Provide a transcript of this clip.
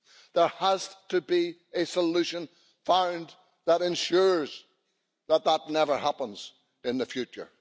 There has to be a solution found that ensures that that never happens in the future.